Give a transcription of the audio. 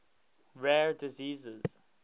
rare diseases